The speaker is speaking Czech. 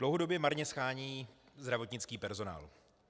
Dlouhodobě marně shánějí zdravotnický personál.